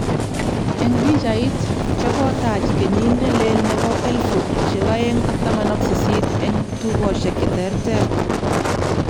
Eng pichait, chekotach keykit nelee nepo 2018eng tukoshiek che terter.